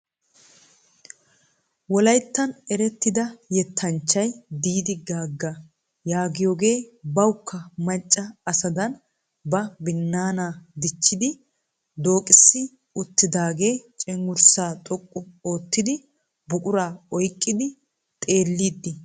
Wolayittan erettida yettanchchay Didi Gaga yaagiyoge bawukka macca asadan ba binnaanaa dichchidi dooqissi uttidaage cenggurssa xoqqu oottiyaa buquraa oyiqqidi xeelliidi des.